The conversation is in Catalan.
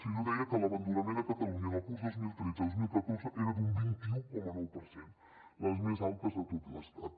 fins i tot deia que l’abandonament a catalunya en el curs dos mil tretze dos mil catorze era d’un vint un coma nou per cent el més alt de tot l’estat